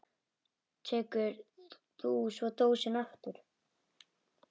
Tekur þú svo dósina aftur?